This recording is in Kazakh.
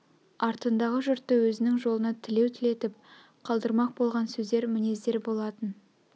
артындағы жұртты өзнің жолына тілеу тілетіп қалдырмақ болған сөздер мінездер болатын